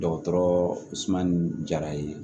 Dɔgɔtɔrɔ suma ni jara ye